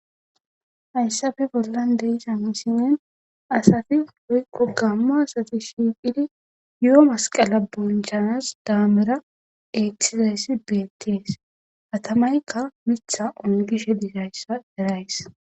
Hayssafe bollan deisa misinen asafi woykqo gamma asati shiiphidi yo'o masqala bonchanas daamera etizayssi beettes katamayka mitha ongishe disayssa erays.